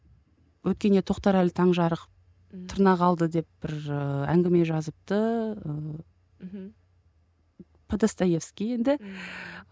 өткенде тоқтарәлі таңжарық тырнақалды деп бір і әңгіме жазыпты ыыы мхм по достаевский енді